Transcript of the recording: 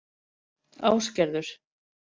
Ásgerður